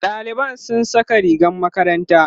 ɗaliban sun Saka rigar makaranta